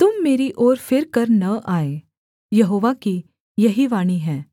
तुम मेरी ओर फिरकर न आए यहोवा की यही वाणी है